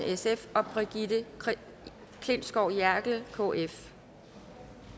og brigitte klintskov jerkel og